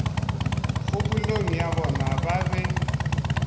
kgopolong ya bona ba be